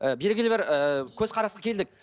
ы белгілі бір ыыы көзқарасқа келдік